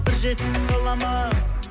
бір жетісіп қаламын ау